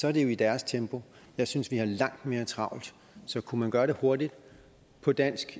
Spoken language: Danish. er det jo i deres tempo jeg synes vi har langt mere travlt så kunne man gøre det hurtigt på dansk